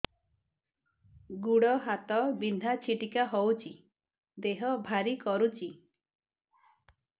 ଗୁଡ଼ ହାତ ବିନ୍ଧା ଛିଟିକା ହଉଚି ଦେହ ଭାରି କରୁଚି